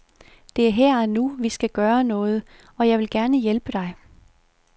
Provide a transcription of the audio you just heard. Det er her og nu, vi skal gøre noget, og jeg vil gerne hjælpe dig.